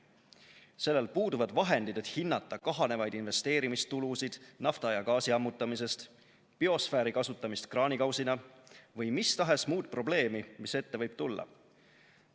Sellel puuduvad vahendid, et hinnata kahanevaid investeerimistulusid nafta- ja gaasiammutamisest, biosfääri kasutamist kraanikausina või mistahes muud probleemi, mis ette võib tulla.